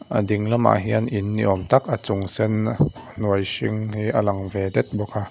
a ding lamah hian in ni awm tak a chung sen hnuai hring hi a lang ve det bawk a.